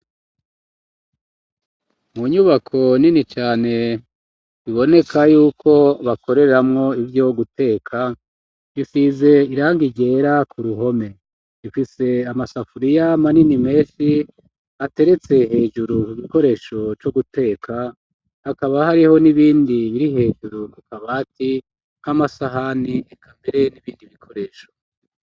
Mu nyubako nini cane ,biboneka y'uko bakoreramwo ivyo guteka ,bisize irangi ryera ku ruhome ,ifise amasafuriya manini menshi ,ateretse hejuru ku gikoresho co guteka ,hakaba hariho n'ibindi biri hejuru ku kabati ,nk'amasahani ,ekambere n'ibindi bikoresho.